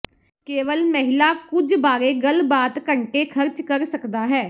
ਕੇਵਲ ਮਹਿਲਾ ਕੁਝ ਬਾਰੇ ਗੱਲਬਾਤ ਘੰਟੇ ਖਰਚ ਕਰ ਸਕਦਾ ਹੈ